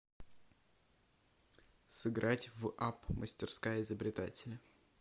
сыграть в апп мастерская изобретателя